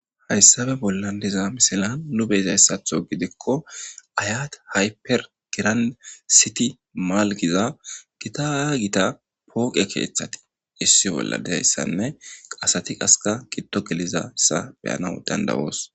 Haysappe bollan de'za misilan nu beyizaysatho gidikon ayat hyper city mall giitta gitta pooqe keethati issi bolla de'izaysanne asati qase gido gelizaysa beyana danda'os.